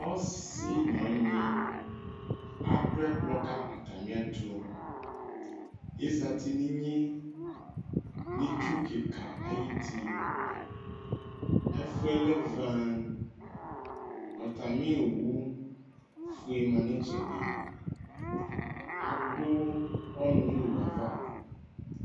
Ɔsɩ nʋ ɔnyɩ adʋ ɛkplɔ ka atamɩɛtʋ Azati nʋ inye nʋ itsu kɩka ayuti Ɛfʋ yɛ lɛ vǝǝ Atamɩ owufue ma nʋ ɩtsɛdɩ Adʋ ɔnʋ nʋ owu yɛ ava